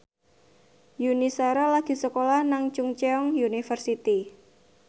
Yuni Shara lagi sekolah nang Chungceong University